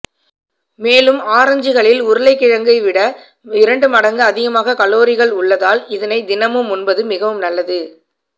மேலும் ஆரஞ்சுகளில் உருளைக்கிழங்கைவிட இரண்டு மடங்கு அதிகமான கலோரிகளில் உள்ளதால் இதனை தினமும் உண்பது மிகவும் நல்லது